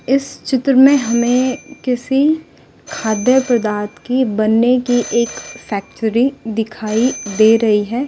इस चित्र में हमें किसी खाद्य पदार्थ की बनने की एक फैक्टरी दिखाई दे रही है।